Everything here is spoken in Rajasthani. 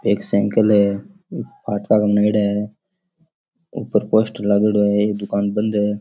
एक साइकिल है ऊपर पोस्टर लागोडा है एक दुकान बंद है।